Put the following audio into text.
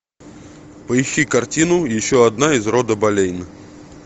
поищи картину еще одна из рода болейн